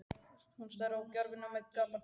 Hún starir á gjafirnar með gapandi munn.